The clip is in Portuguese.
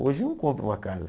Hoje não compra uma casa.